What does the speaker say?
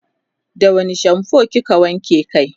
da wani shampoo kike wanke kai?